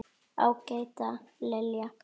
Ágæta Lilja.